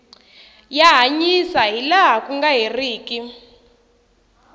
ya hanyisa ha laha ku nga herika